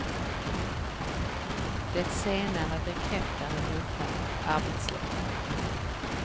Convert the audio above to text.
Det senare bekräftar den hotade arbetsledaren.